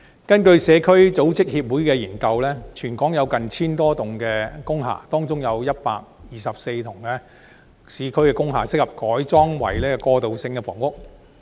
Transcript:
根據社區組織協會的研究，全港有 1,000 多幢工廈，當中有124幢市區工廈適合改建為過渡性房屋。